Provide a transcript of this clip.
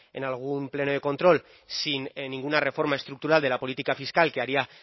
en algún pleno de control sin ninguna reforma estructural de la política fiscal que haría